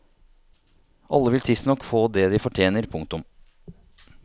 Alle vil tidsnok få det de fortjener. punktum